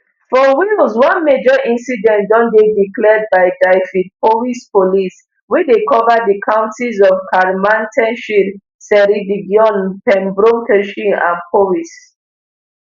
for wales one major incident don dey declared by dyfedpowys police wey dey cover di counties of carmarthenshire ceredigion pembrokeshire and powys